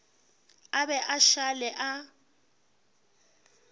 a be a šale a